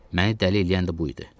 Məni dəli eləyən də bu idi.